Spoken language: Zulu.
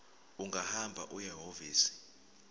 ungahamba uye ehhovisi